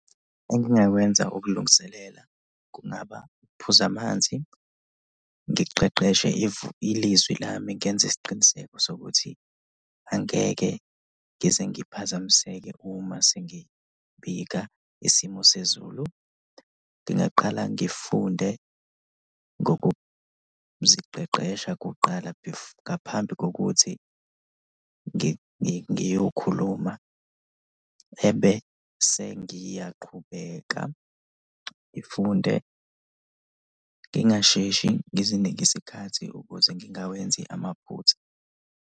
Engingakwenza ukulungiselela kungaba ukuphuza amanzi, ngiqeqeshe ilizwi lami, ngenze isiqiniseko sokuthi angeke ngize ngiphazamiseke uma sengibika isimo sezulu. Ngingaqala ngifunde ngokuziqeqesha kuqala ngaphambi kokuthi ngiyokhuluma ebese ngiyaqhubeka ngifunde, ngingasheshi, ngizinike isikhathi ukuze ngingawenzi amaphutha.